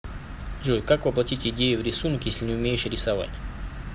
джой как воплотить идею в рисунок если не умеешь рисовать